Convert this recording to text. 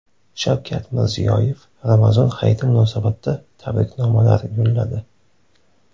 Shavkat Mirziyoyev Ramazon hayiti munosabati tabriknomalar yo‘lladi.